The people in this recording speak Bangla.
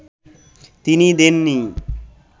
তিনি দেননি